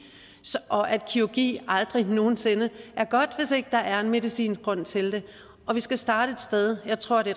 og at kirurgi aldrig nogen sinde er godt hvis ikke der er en medicinsk grund til det vi skal starte et sted og jeg tror det